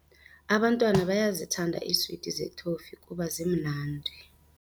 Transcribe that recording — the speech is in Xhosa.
Abantwana bayazithanda iiswiti zethofi kuba zimnandi.